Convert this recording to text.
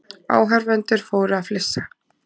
Áhorfendur fóru að flissa.